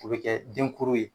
O bi kɛ denkuru ye